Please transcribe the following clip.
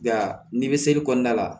Nka nimiseli kɔnɔna la